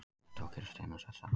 Þetta á að gerast innan sex ára.